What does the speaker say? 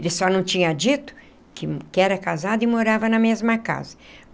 Ele só não tinha dito que que era casado e morava na mesma casa.